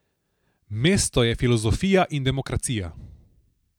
Mesto je filozofija in demokracija.